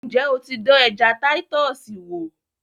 Ǹjẹ́ o ti dán ẹja Táítọ́ọ̀sì wò?